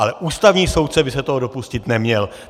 Ale ústavní soudce by se toho dopustit neměl.